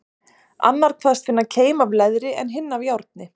Annar kvaðst finna keim af leðri, en hinn af járni.